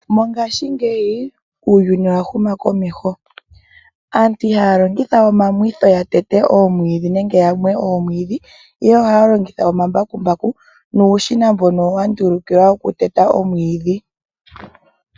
Mongashingeyi uuyuni owa huma komeho aantu ihaya longitha we omamwitho ya tete oomwiidhi nenge yamwe oomwiidhi ihe ohaya longitha omambakumbaku nuushina mbono wa ndulukilwa okuteta oomwiidhi.